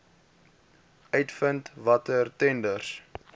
uitvind watter tenders